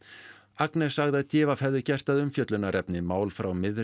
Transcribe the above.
Agnes sagði að d v hefði gert að umfjöllunarefni mál frá miðri